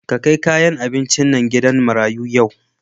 Ka kai kayan abincin nan gidan marayu yau.